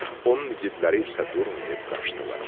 Onun igidləri isə durmayıb qaçdılar.